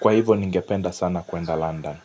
Kwa hivo ningependa sana kuenda London.